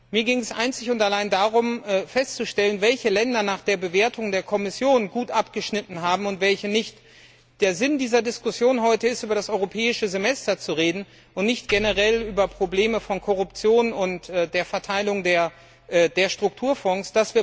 Mir ging es einzig und allein darum festzustellen, welche Länder nach der Bewertung der Kommission gut abgeschnitten haben und welche nicht. Der Sinn dieser Diskussion heute ist, über das europäische Semester zu reden und nicht generell über Probleme von Korruption und der Verteilung der Strukturfonds.